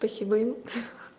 спасибо им